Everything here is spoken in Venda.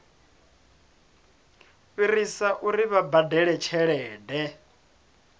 fhirisa uri vha badele tshelede